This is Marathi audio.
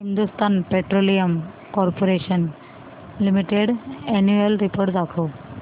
Hindustan petroleum corporation limited annual report दाखव